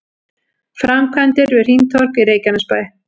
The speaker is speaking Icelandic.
Framkvæmdir við hringtorg í Reykjanesbæ